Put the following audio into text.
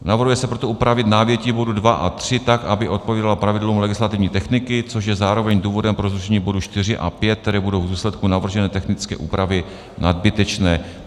Navrhuje se proto upravit návětí bodu 2 a 3 tak, aby odpovídalo pravidlům legislativní techniky, což je zároveň důvodem pro zrušení bodů 4 a 5, které budou v důsledku navržené technické úpravy nadbytečné.